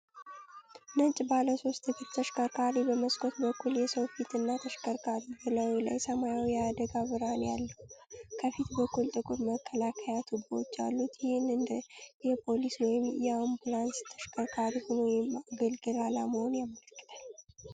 ነጭ ባለ ሶስት እግር ተሽከርካሪ በመስኮት በኩል የሰው ፊት እና ተሽከርካሪው በላዩ ላይ ሰማያዊ የአደጋ ብርሃን ያለው፣ ከፊት በኩል ጥቁር መከላከያ ቱቦዎች ያሉት፤ ይህም እንደ የፖሊስ ወይም የአምቡላንስ ተሽከርካሪ ሆኖ የማገልገል ዓላማውን ያመለክታል።